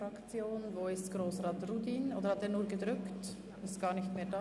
Hat er nur die Taste gedrückt, um sich als Redner anzumelden, und ist nun gar nicht mehr hier?